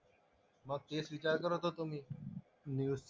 मग तेच विचार करत होतो मी